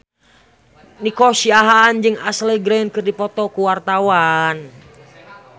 Nico Siahaan jeung Ashley Greene keur dipoto ku wartawan